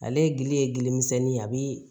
Ale gili ye gili misɛnni ye a bi